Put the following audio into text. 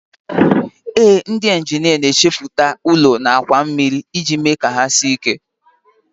Ee, ndị injinia na-echepụta ụlọ na àkwà mmiri iji mee ka ha sie ike